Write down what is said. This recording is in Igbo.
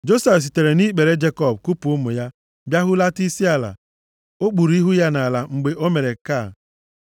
Josef sitere nʼikpere + 48:12 Ị kuu mmadụ nʼikpere, bụ mmemme iji gosipụta na onye ahụ eku nʼikpere, a bụrụla nwa onye ahụ kuu ya. Jekọb kupu ụmụ ya, bịa hulata isi ala. O kpuru ihu ya nʼala mgbe o mere nke a.